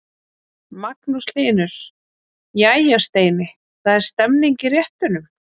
Magnús Hlynur: Jæja Steini, það er stemning í réttunum?